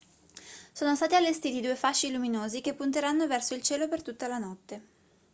sono stati allestiti due fasci luminosi che punteranno verso il cielo per tutta la notte